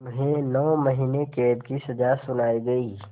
उन्हें नौ महीने क़ैद की सज़ा सुनाई गई